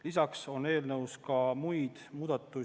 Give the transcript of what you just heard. Lisaks on eelnõus muid muudatusi.